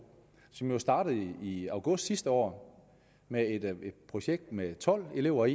som jo startede i august sidste år med et projekt med tolv elever